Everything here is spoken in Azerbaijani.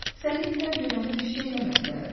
Səni itlər görəndə bir şey eləmədilər?